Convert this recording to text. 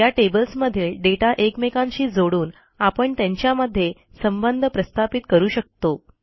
या टेबल्समधील दाता एकमेकांशी जोडून आपण त्यांच्या मध्ये संबंध प्रस्थापित करू शकतो